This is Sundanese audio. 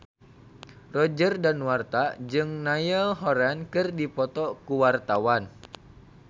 Roger Danuarta jeung Niall Horran keur dipoto ku wartawan